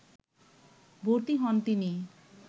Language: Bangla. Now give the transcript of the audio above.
ভর্তি হন তিনি